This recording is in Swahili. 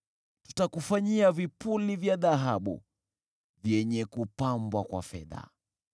Tutakufanyia vipuli vya dhahabu, vyenye kupambwa kwa fedha.